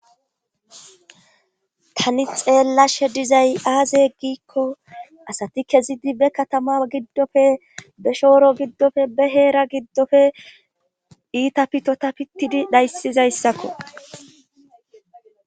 Tani xeella she dizay aaze heggikko asati kezidi be katama giddofe be shooro giddofe be heera giddofe iita pitota pittidi dhayssizayssakko.